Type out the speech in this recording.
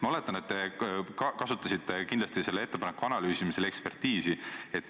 Ma oletan, et te kasutasite selle ettepaneku analüüsimisel ekspertiisi.